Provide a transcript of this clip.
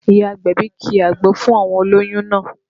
Ìyá agbẹ̀bí ki àgbo fún àwọn olóyún náà